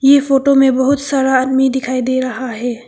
यह फोटो में बहुत सारा आदमी दिखाई दे रहा है।